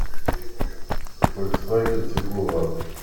фольксваген тигуан